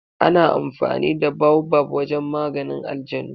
Ana amfani da baobab wajen maganin ajanu.